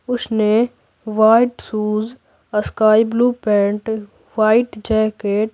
उसने white shoes sky blue pant white jacket --